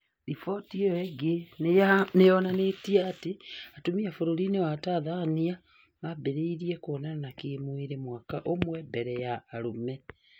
Riboti ĩyo ningĩ nĩyonanĩtie atĩ atumia bururi-inĩ wa Tanzania mambĩrĩirie kuonana kĩ mwĩrĩ mwaka ũmwe mbere ya arũme